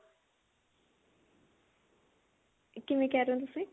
ਕਿਵੇਂ ਕਿਹ ਰਹੇ ਹੋ ਤੁਸੀਂ